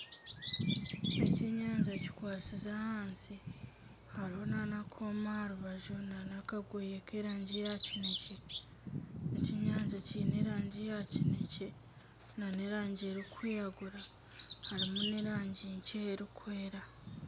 Ekyenyanja kikwatsize ahansi. Hariho na n'akooma aharubaju na nakagoye Ky'erangi ya kinekye. Ekyenyanja Kiine erangi ya kinekye na n'erangi erikwiragura harimu n'erangi nkye erikwera.